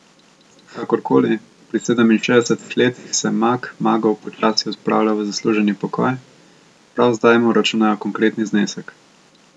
Kakor koli, pri sedeminšestdesetih letih se mag magov počasi odpravlja v zasluženi pokoj, prav zdaj mu računajo konkretni znesek.